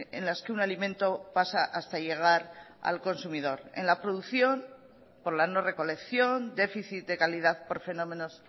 en las que un alimento pasa hasta llegar al consumidor en la producción por la no recolección déficit de calidad por fenómenos